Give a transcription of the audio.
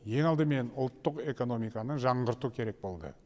ең алдымен ұлттық экономиканы жаңғырту керек болды